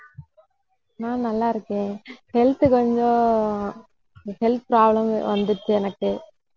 நான் நல்லா இருக்கேன் health கொஞ்சம் health problem வந்துருச்சு எனக்கு